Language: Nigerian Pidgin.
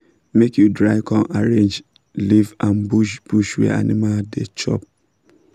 make you dry com arrange leave and bush bush wey animal dey chop